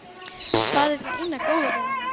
Það er það eina góða við hana.